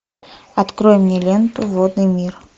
открой мне ленту водный мир